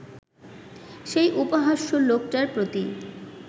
সেই উপহাস্য লোকটার প্রতিই